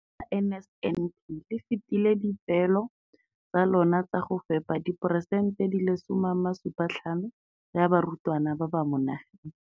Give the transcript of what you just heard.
Ka NSNP le fetile dipeelo tsa lona tsa go fepa diporesente di le 75 ya barutwana ba mo nageng.